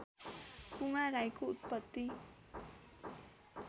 पुमा राईको उत्पत्ति